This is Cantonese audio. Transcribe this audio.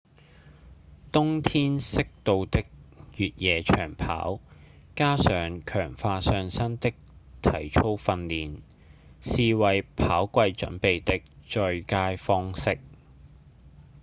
冬天適度的越野長跑加上強化上身的體操訓練是為跑季準備的最佳方式